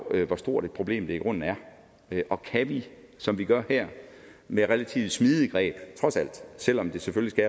hvor stort et problem det i grunden er og kan vi som vi gør her med relativt smidige greb trods alt selv om det selvfølgelig